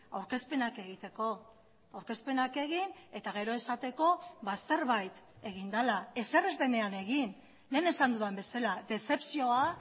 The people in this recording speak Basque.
aurkezpenak egiteko aurkezpenak egin eta gero esateko zerbait egin dela ezer ez denean egin lehen esan dudan bezala dezepzioa